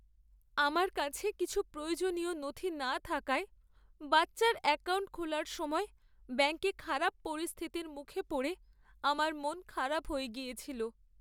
আমার কাছে কিছু প্রয়োজনীয় নথি না থাকায় বাচ্চার অ্যাকাউন্ট খোলার সময় ব্যাঙ্কে খারাপ পরিস্থিতির মুখে পড়ে আমার মন খারাপ হয়ে গিয়েছিল।